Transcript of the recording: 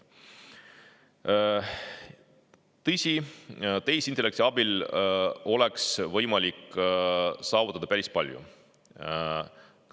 Tõsi, tehisintellekti abil oleks võimalik saavutada päris palju.